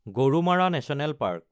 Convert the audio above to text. Gorumara national park